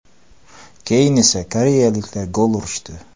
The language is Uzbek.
Keyin esa koreyaliklar gol urishdi.